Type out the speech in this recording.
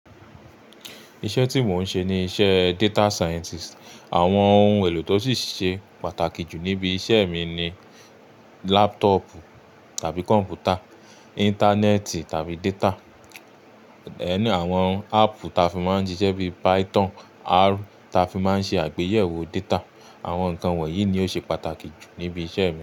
Iṣẹ́ tí mò ń ṣe ni iṣẹ́ data scientist. Àwọn ohun èlò tó sì ṣe pàtàkì jù níbi iṣẹ́ mi ni laptop tàbí computer, ìntanẹ́ẹ̀tì tàbí data, ẹnu àwọn app ta fi máa ń jiṣẹ́ bíi Python, R ta fi máa ń ṣe àgbéyẹ̀wò data. Àwọn nǹkan wọ̀nyí ni ó ṣe pàtàkì jù níbi iṣẹ́ mi.